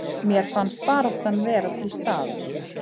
Mér fannst baráttan vera til staðar